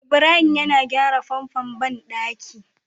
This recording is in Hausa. Ibrahim yana gyra famfon banɗaki